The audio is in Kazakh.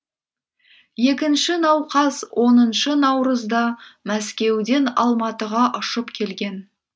екінші науқас оныншы наурызда мәскеуден алматыға ұшып келген